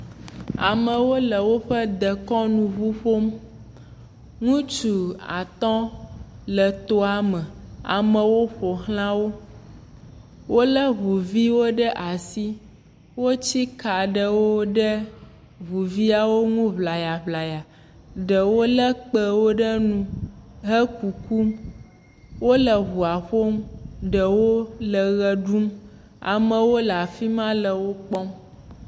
Amewo le woƒe dekɔnu ŋu ƒom, ŋutsu atɔ̃ le toa me, amewo ƒo xla wo, wolé ŋuviwo ɖe asi, wotsi ka aɖe ɖe ŋuviawo ŋu ŋlayaŋlaya, ɖewo lé kpewo ɖe nu, hekukum, wole ŋua ƒom, ɖewo le ʋe ɖum, amewo le afi ma le wo kpɔm.